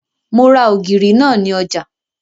Mo ra ògìrì náà ní ọjà